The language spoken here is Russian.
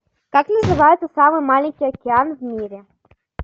как называется самый маленький океан в мире